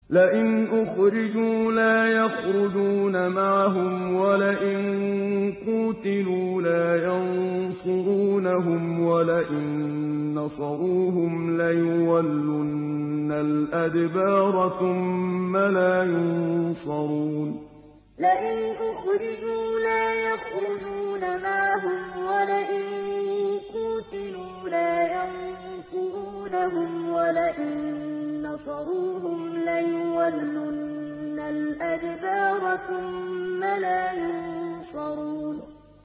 لَئِنْ أُخْرِجُوا لَا يَخْرُجُونَ مَعَهُمْ وَلَئِن قُوتِلُوا لَا يَنصُرُونَهُمْ وَلَئِن نَّصَرُوهُمْ لَيُوَلُّنَّ الْأَدْبَارَ ثُمَّ لَا يُنصَرُونَ لَئِنْ أُخْرِجُوا لَا يَخْرُجُونَ مَعَهُمْ وَلَئِن قُوتِلُوا لَا يَنصُرُونَهُمْ وَلَئِن نَّصَرُوهُمْ لَيُوَلُّنَّ الْأَدْبَارَ ثُمَّ لَا يُنصَرُونَ